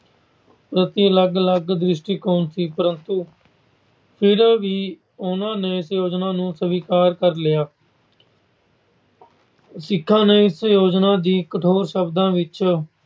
ਪ੍ਰਤੀ ਅਲਗ ਅਲਗ ਦ੍ਰਿਸ਼ਟੀਕੋਣ ਸੀ ਪਰੰਤੂ ਫਿਰ ਵੀ ਉਹਨਾਂ ਨੇ ਇਸ ਯੋਜਨਾ ਨੂੰ ਸਵਿਕਾਰ ਕਰ ਲਿਆ। ਸਿੱਖਾਂ ਨੇ ਇਸ ਯੋਜਨਾ ਦੀ ਕਠੋਰ ਸ਼ਬਦਾਂ ਵਿੱਚ